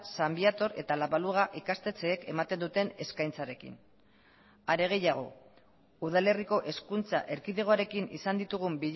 san viator eta la baluga ikastetxeek ematen duten eskaintzarekin are gehiago udalerriko hezkuntza erkidegoarekin izan ditugun